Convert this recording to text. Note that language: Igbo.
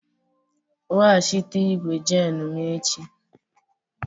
Weghachite igwu jenu m echi!